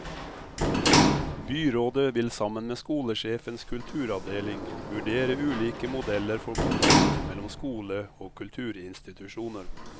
Byrådet vil sammen med skolesjefens kulturavdeling vurdere ulike modeller for kontakt mellom skole og kulturinstitusjoner.